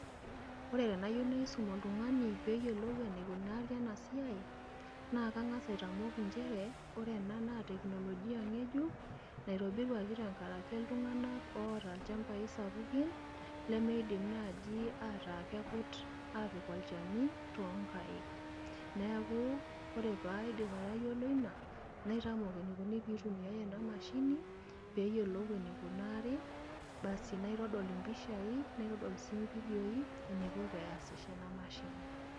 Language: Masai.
Ore tenayieu naisum oltung`ani pee eyiolou enaikunari ena siai naa kang`as aitamok nchere ore ena naa teknolojia ng`ejuk naitobiruaki tenkaraki iltung`anak oota ilchambai sapukin lemeidim naaji ataa kekut aapik olchani too nkaik. Neeku ore pee aidim aitayiolo ina naitamok enikoni pee eitumiyai ena mashini pee eyiolou enaikunari. Basi naitodol impishai naitodol sii ividioi enaiko peasisho ena mashini.